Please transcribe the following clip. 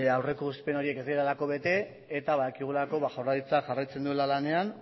aurreikuspen horiek ez direlako bete eta badakigulako jaurlaritzak jarraitzen duela lanean